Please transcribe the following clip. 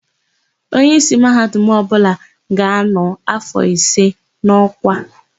Onyeísí Mahadum ọbụla ga-anọ áfọ̀ ise n'ọ́kwá.